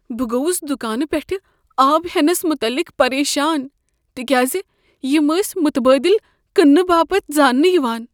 بہٕ گوس دُکانہٕ پیٹھہٕ آب ہٮ۪نس متعلق پریشان تكیازِ یِم ٲسۍ متبادِل كنٛنہٕ باپت زانٛنہٕ یوان۔